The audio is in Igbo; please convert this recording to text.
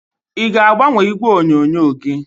ị ga-agbanwe igwe onyonyo gị?